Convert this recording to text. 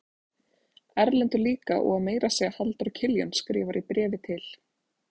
Erlendur líka og meira að segja Halldór Kiljan skrifar í bréfi til